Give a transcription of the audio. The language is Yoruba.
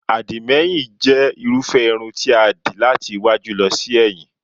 Àdìmẹ́yìn jẹ́ irúfẹ́ irun ti a dì láti iwájú lọ sí ẹ̀yìn